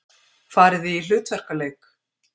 Farið þið í hlutverkaleik?